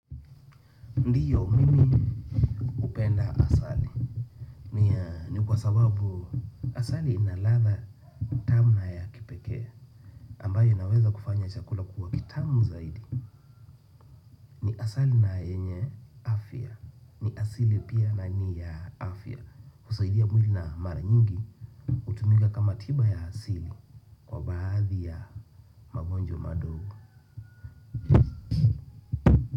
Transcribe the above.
Ndio, mimi hupenda asali. Ni kwa sababu asali ina ladha tamu na ya kipekee ambayo inaweza kufanya chakula kuwa kitamu zaidi. Ni asali na yenye afya. Ni asili pia na ni ya afya husaidia mwili na mara nyingi hutumika kama tiba ya asili kwa baadhi ya magonjwa madogo.